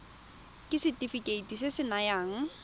ke setefikeiti se se nayang